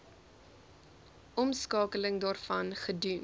omskakeling daarvan gedoen